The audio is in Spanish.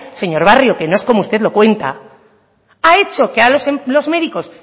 señor barrio que no es como usted lo cuenta ha hecho a los médicos